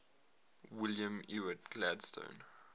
william ewart gladstone